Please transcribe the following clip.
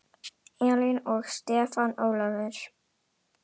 Elín og Stefán Ólafur.